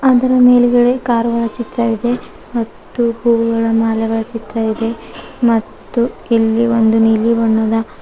ಅದರ ಮೇಲ್ಗಡೆ ಕಾರು ಗಳ ಚಿತ್ರ ಇದೆ ಮತ್ತೂ ಹೂ ಗಳ ಮಾಲೆಗಳ ಚಿತ್ರ ಇದೆ ಮತ್ತೂ ಇಲ್ಲಿ ಒಂದು ನೀಲಿ ಬಣ್ಣದ.